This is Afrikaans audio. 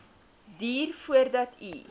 duur voordat u